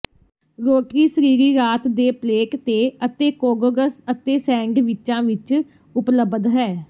ਰੋਟਰੀਸਰਰੀ ਰਾਤ ਦੇ ਪਲੇਟ ਤੇ ਅਤੇ ਕੋਗੋਗਸ ਅਤੇ ਸੈਂਡਵਿਚਾਂ ਵਿਚ ਉਪਲਬਧ ਹੈ